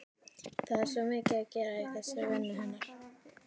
Það er svo mikið að gera í þessari vinnu hennar.